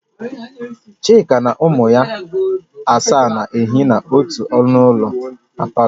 Chika na ụmụ ya asaa na-ehi na ọtụ ụlọ na palọ